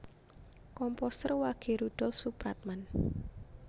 Komposer Wage Rudolf Supratman